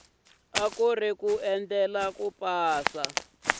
ku ri ku endlela ku